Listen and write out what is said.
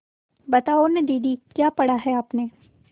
बताओ न दीदी क्या पढ़ा है आपने